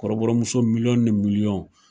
Kɔrɔbɔrɔmuso miliyɔn ni miliyɔn.